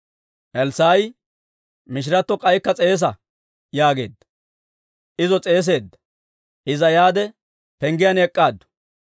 Elssaa'i, «Mishiratto k'aykka s'eesa» yaageedda. Izo s'eeseedda; Iza yaade, penggiyaan ek'k'aaddu.